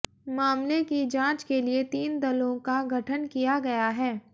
मामले की जांच के लिए तीन दलों का गठन किया गया है